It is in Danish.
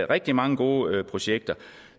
rigtig mange gode projekter